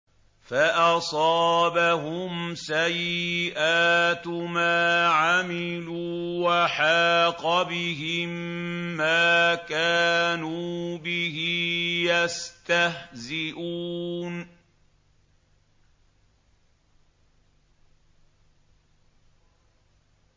فَأَصَابَهُمْ سَيِّئَاتُ مَا عَمِلُوا وَحَاقَ بِهِم مَّا كَانُوا بِهِ يَسْتَهْزِئُونَ